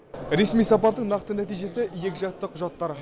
ресми сапардың нақты нәтижесі екіжақты құжаттар